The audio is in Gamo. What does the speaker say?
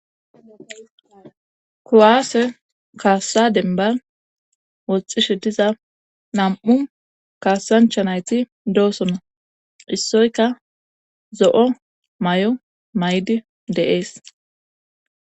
Kowaase kaassa denbar woxxishe diza nam7u kaassancha nayti doosonna issoyka zo7o may7o may7di deees